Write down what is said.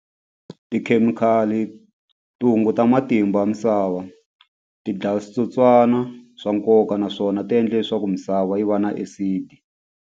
Tikhemikhali ti hunguta matimba ya misava ti dlaya switsotswana swa nkoka naswona ti endle leswaku misava yi va na acid.